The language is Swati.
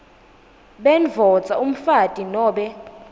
bendvodza umfati nobe